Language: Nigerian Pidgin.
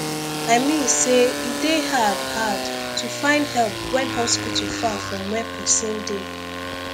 i mean say e dey hard hard to find help when hospital far from where person dey